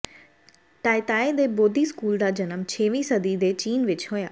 ਟਾਇਤੀਾਈ ਦੇ ਬੋਧੀ ਸਕੂਲ ਦਾ ਜਨਮ ਛੇਵੀਂ ਸਦੀ ਦੇ ਚੀਨ ਵਿੱਚ ਹੋਇਆ